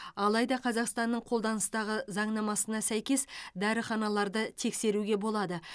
алайда қазақстанның қолданыстағы заңнамасына сәйкес дәріханаларды тексеруге болады